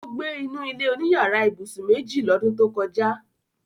Ó gbé inú ilé-oníyàrá ibùsùn méjì lọ́dún tó kọjá